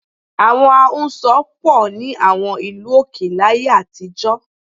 Àwọn ahunsọ pọ̀ ní àwọn ìlú òkè láyé àtijọ́